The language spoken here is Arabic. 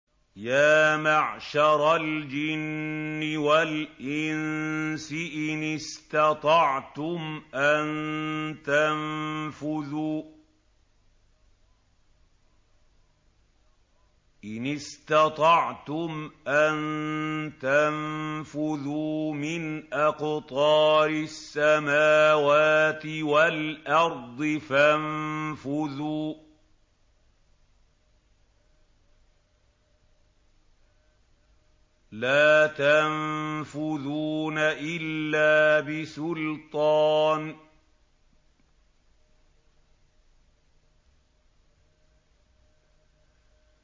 يَا مَعْشَرَ الْجِنِّ وَالْإِنسِ إِنِ اسْتَطَعْتُمْ أَن تَنفُذُوا مِنْ أَقْطَارِ السَّمَاوَاتِ وَالْأَرْضِ فَانفُذُوا ۚ لَا تَنفُذُونَ إِلَّا بِسُلْطَانٍ